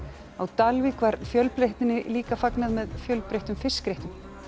á Dalvík var fjölbreytninni líka fagnað með fjölbreyttum fiskréttum